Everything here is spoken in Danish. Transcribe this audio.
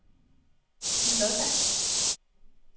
Kimmie Lodberg